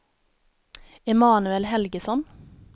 Emanuel Helgesson